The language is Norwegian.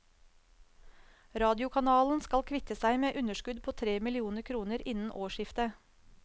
Radiokanalen skal kvitte seg med et underskudd på tre millioner kroner innen årsskiftet.